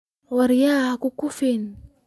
Waryah hanukukufucin.